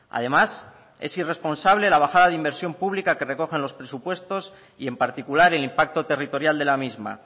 además es irresponsable la bajada de inversión pública que recogen los presupuestos y en particular el impacto territorial de la misma